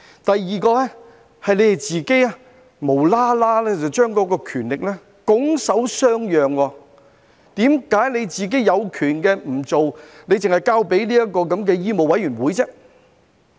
第二，政府無故把權力拱手相讓，為何自己有權也不去做，只是交給醫務委員會呢？